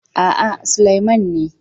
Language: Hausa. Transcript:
A'a, Sulaiman ne.